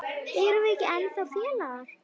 Erum við ekki ennþá félagar?